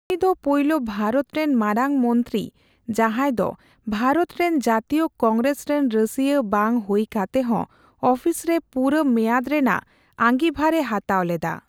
ᱩᱱᱤ ᱫᱚ ᱯᱟᱹᱭᱞᱟᱹᱵᱷᱟᱨᱚᱛ ᱨᱮᱱ ᱢᱟᱨᱟᱝ ᱢᱚᱱᱛᱨᱤ, ᱡᱟᱸᱦᱟᱭ ᱫᱚ ᱵᱷᱟᱨᱛ ᱨᱮᱱ ᱡᱟᱹᱛᱤᱭᱚ ᱠᱚᱝᱜᱨᱮᱥ ᱨᱮᱱ ᱨᱟᱹᱥᱭᱟᱹ ᱵᱟᱝ ᱦᱩᱭ ᱠᱟᱛᱮᱦᱚᱸ ᱟᱹᱯᱷᱤᱥᱨᱮ ᱯᱩᱨᱟᱹ ᱢᱮᱭᱟᱫ ᱨᱮᱱᱟᱜ ᱟᱸᱝᱜᱤᱵᱷᱟᱨᱮ ᱦᱟᱛᱟᱣ ᱞᱮᱫᱟ ᱾